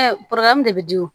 de bɛ di